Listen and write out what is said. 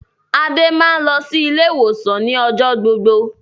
Adé máa ń lọ ilé-ìwòsàn ni ọjọ́ gbogbo.